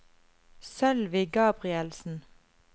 Sølvi Gabrielsen